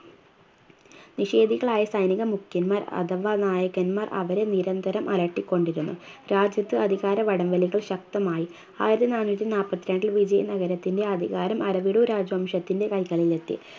നിഷേധികളായ സൈനിക മുഖ്യന്മാർ അഥവാ നായകന്മാർ അവരെ നിരന്തരം അലട്ടിക്കൊണ്ടിരുന്നു രാജ്യത്ത് അധികാര വടംവലികൾ ശക്തമായി ആയിരത്തി നാനൂറ്റി നാപ്പത്തി രണ്ടിൽ വിജയ നഗരത്തിൻറെ അധികാരം അരവിടു രാജവംശത്തിൻറെ കൈകളിലെത്തി